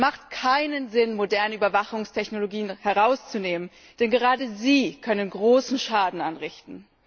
Es hat keinen Sinn, moderne Überwachungstechnologien herauszunehmen, denn gerade sie können großen Schaden anrichten.